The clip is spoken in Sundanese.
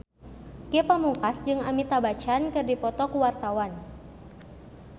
Ge Pamungkas jeung Amitabh Bachchan keur dipoto ku wartawan